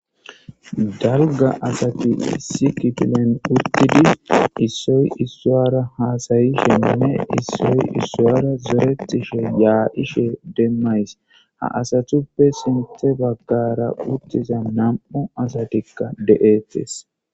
dalga asati sikitilen uttidi issoy issowara haasayi shenine issoy issuwara zoretishe yaa7ishe demmays ha asathuppe sinthe baggara uttiza nam7u asatikka de7etes